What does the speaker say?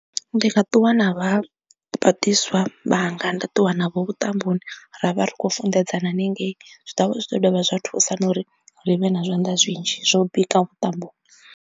Ndi nga ṱuwa na vha vhagudiswa vhanga nda ṱuwa navho vhuṱamboni ra vha ri khou funḓedzana hanengei zwi ḓovha zwi ḓo dovha zwa thusa na uri ri vhe na zwanḓa zwinzhi zwo bika vhuṱamboni.